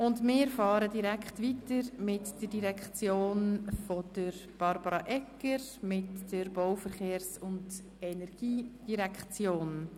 Wir fahren direkt weiter mit der BVE, und ich begrüsse Frau Regierungsrätin Egger.